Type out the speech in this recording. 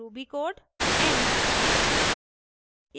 Ruby code end